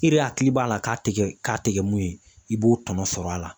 I yɛrɛ hakili b'a la k'a te kɛ k'a te kɛ mun ye i b'o tɔnɔ sɔrɔ a la